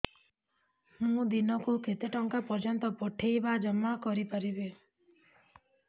ମୁ ଦିନକୁ କେତେ ଟଙ୍କା ପର୍ଯ୍ୟନ୍ତ ପଠେଇ ବା ଜମା କରି ପାରିବି